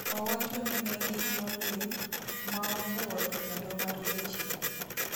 Owachoni negin "molill","maofuo" to kendo"mar jachien".